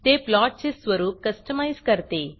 ते प्लॉटचे स्वरूप कस्टमाईज करते